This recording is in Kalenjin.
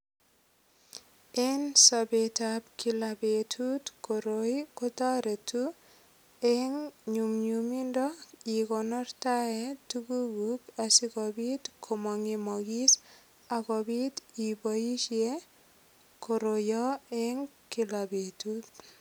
En sobetab kila betut koroi kotoreti eng' nyumnyumindo ikonortae tukukuk asikobit komang'emokis akobit iboishe koroito eng' kila betut